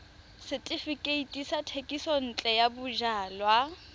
setefikeiti sa thekisontle ya bojalwa